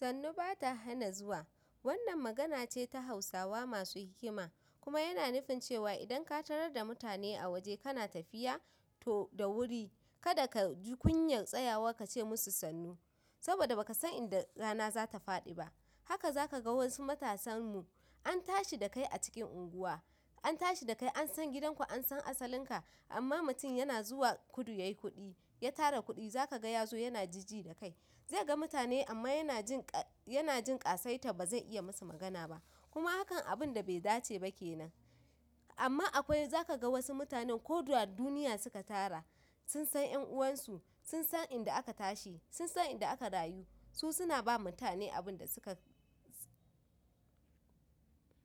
Sannu ba ta hana zuwa. Wannan magana ce ta hausawa masu hikima, kuma yana nufin cewa idan ka tarar da mutane a waje kana tafiya? To da wuri kada ka ji kunyar tsayawa ka ce masu sannu saboda ba ka san inda rana za ta faɗi ba. Haka za ka ga wasu matasan mu, an tashi dakai a cikin anguwa, an tashi da kai an san gidan ku an san asalin ka. Amman mutum yana zuwa kudu yayi kuɗi, ya tara kuɗi za ka ga ya zo yana jijji da kai zai ga mutane amma yana jin ƙa, yana jin ƙasaitar ba zai iya masu magana ba. Kuma hakan abinda bai dace ba kenan amma akwai za ka ga wasu mutanen ko da duniya suka tara, sun san ƴan uwansu, sun san inda aka tashi, sun san inda aka rayu. Su suna ba mutane abin da suka.